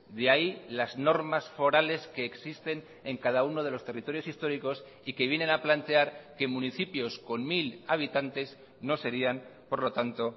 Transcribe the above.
de ahí las normas forales que existen en cada uno de los territorios históricos y que vienen a plantear que municipios con mil habitantes no serían por lo tanto